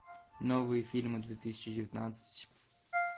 новые фильмы две тысячи девятнадцать